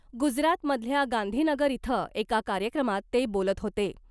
गुजरात मधल्या गांधीनगर इथं एका कार्यक्रमात ते बोलत होते .